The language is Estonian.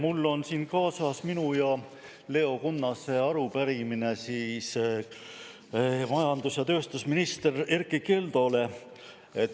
Mul on siin kaasas minu ja Leo Kunnase arupärimine majandus- ja tööstusminister Erkki Keldole.